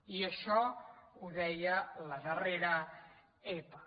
i això ho deia la darrera epa